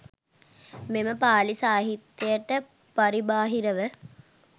මෙම පාලි සාහිත්‍යයට පරිබාහිරව,